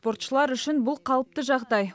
спортшылар үшін бұл қалыпты жағдай